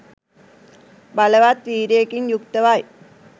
බලවත් වීර්යයකින් යුක්තව යි.